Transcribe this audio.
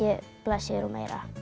blaðsíður og meira